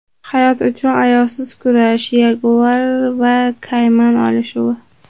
Hayot uchun ayovsiz kurash: yaguar va kayman olishuvi .